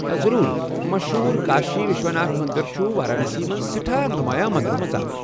ضرور۔ مشہوٗر کاشی وِشواناتھ مندر چھُ وارانسی منٛز سیٹھاہ نمایاں مندرو منٛزٕ اکھ ۔